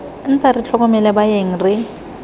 nta re tlhokomele baeng re